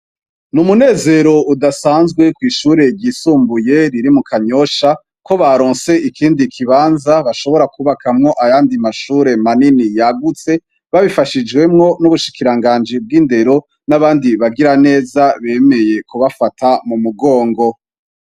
Ni umunezero udasanzwe kw'ishure ryisumbuye riri mu kanyosha ko baronse ikindi kibanza bashobora kubakamwo ayandi mashure manini yagutse babifashijwemwo n'ubushikiranganji bw'indero n'abandi bagira neza bemeye kubafata mu mugongo.